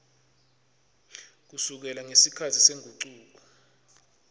kusukela ngesikhatsi sengucuko